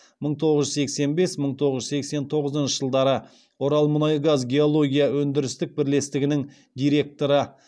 мың тоғыз жүз сексен бес мың тоғыз жүз сексен тоғызыншы жылдары оралмұнайгазгеология өндірістік бірлестігінің директоры